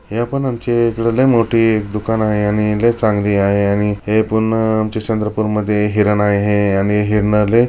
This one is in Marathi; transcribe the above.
हे पण आमचा इकडं ते एक दुकान आहे आणि लय चांगली आहे हे पूर्ण आमच्या चंद्रपुर हिरण आहे आणि हिरण लय --